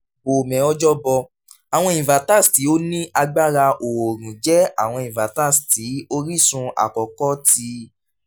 bome ojoboh: awọn inverters ti o ni agbara oorun jẹ awọn inverters ti orisun akọkọ ti